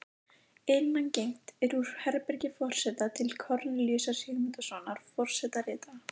Innangengt er úr herbergi forseta til Kornelíusar Sigmundssonar forsetaritara.